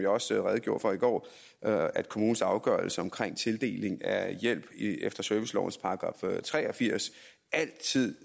også redegjorde for i går at kommunens afgørelse omkring tildeling af hjælp efter servicelovens § tre og firs altid